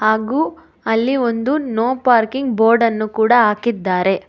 ಹಾಗು ಅಲ್ಲಿ ಒಂದು ನೊ ಪಾರ್ಕಿಂಗ್ ಬೋರ್ಡನ್ನು ಕೂಡ ಹಾಕಿದ್ದಾರೆ.